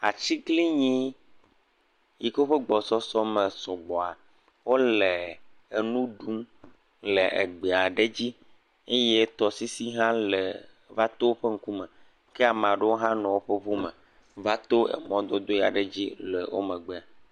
Atiglinyi yi ke woƒe gbɔsusu me sɔgbɔ wole enu ɖum le egbe aɖe dzi eye tɔsisi hã le va to woƒe ŋkume, ke ame aɖewo hã nɔ woƒe ŋu me va to eŋu mɔdodo aɖe dzi le wo megbe.